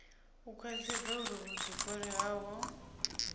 u khwaṱhisedza uri vhuḓifari havho